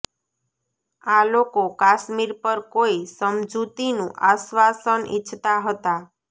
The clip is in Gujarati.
આ લોકો કાશ્મીર પર કોઇ સમજૂતીનું આશ્વાસન ઇચ્છતા હતા